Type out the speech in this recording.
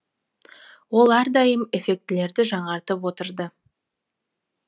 ол әрдайым эффектілерді жаңартып отырды